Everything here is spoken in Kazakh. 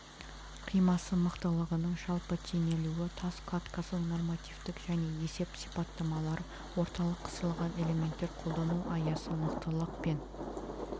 қимасы мықтылығының жалпы теңелуі тас кладкасының нормативтік және есеп сипаттамалары орталық-қысылған элементтер қолдану аясы мықтылық пен